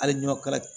Hali ni kala